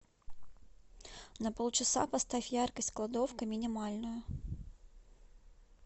на полчаса поставь яркость кладовка минимальную